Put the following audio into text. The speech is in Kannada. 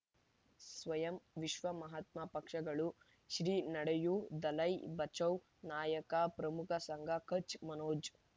ಸ್ವಯಂ ವಿಶ್ವ ಮಹಾತ್ಮ ಪಕ್ಷಗಳು ಶ್ರೀ ನಡೆಯೂ ದಲೈ ಬಚೌ ನಾಯಕ ಪ್ರಮುಖ ಸಂಘ ಕಚ್ ಮನೋಜ್